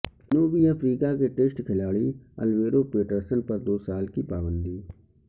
جنوبی افریقہ کے ٹیسٹ کھلاڑی الویرو پیٹرسن پر دو سال کی پابندی